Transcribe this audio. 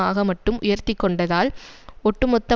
ஆக மட்டும் உயர்த்திக்கொண்டதால் ஒட்டு மொத்த